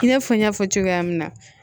I n'a fɔ n y'a fɔ cogoya min na